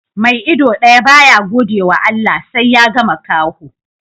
Mai ido daya ba ya gode wa Allah, sai ya ga makaho